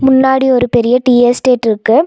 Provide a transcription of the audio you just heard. முன்னாடி ஒரு பெரிய டீ எஸ்டேட்ருக்கு .